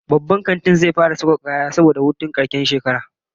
The shopping mall will start a promotion season because of New Year holidays